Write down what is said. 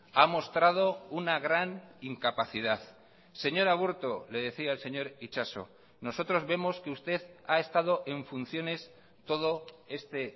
ha mostrado una gran incapacidad señor aburto le decía el señor itxaso nosotros vemos que usted ha estado en funciones todo este